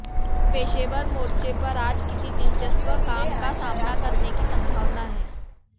पेशेवर मोर्चे पर आज किसी दिलचस्प काम का सामना करने की संभावना है